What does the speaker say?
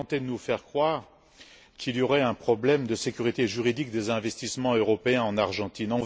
Vous tentez de nous faire croire qu'il y aurait un problème de sécurité juridique des investissements européens en Argentine.